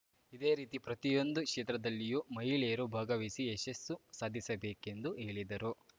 ಇದೇ ರೀತಿ ಪ್ರತಿಯೊಂದು ಕ್ಷೇತ್ರದಲ್ಲಿಯೂ ಮಹಿಳೆಯರು ಭಾಗವಹಿಸಿ ಯಶಸ್ಸು ಸಾಧಿಸಬೇಕೆಂದು ಹೇಳಿದರು